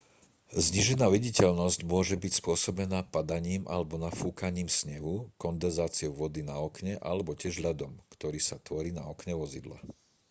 znížená viditeľnosť môže byť spôsobená padaním alebo nafúkaním snehu kondenzáciou vody na okne alebo tiež ľadom ktorý sa tvorí na okne vozidla